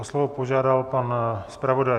O slovo požádal pan zpravodaj.